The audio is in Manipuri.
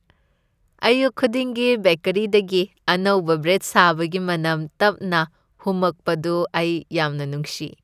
ꯑꯌꯨꯛ ꯈꯨꯗꯤꯡꯒꯤ ꯕꯦꯀꯦꯔꯤꯗꯒꯤ ꯑꯅꯧꯕ ꯕ꯭ꯔꯦꯗ ꯁꯥꯕꯒꯤ ꯃꯅꯝ ꯇꯞꯅ ꯍꯨꯝꯃꯛꯄꯗꯨ ꯑꯩ ꯌꯥꯝꯅ ꯅꯨꯡꯁꯤ ꯫